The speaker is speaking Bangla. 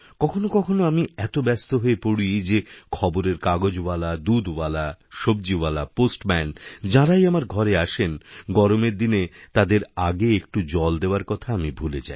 কখনও কখনও আমি এতব্যস্ত হয়ে পড়ি যে খবরের কাগজওয়ালা দুধওয়ালা সব্জীওয়ালা পোস্টম্যান যাঁরাইআমার ঘরে আসে গরমের দিনে তাদের আগে একটু জল দেওয়ার কথা আমি ভুলে যাই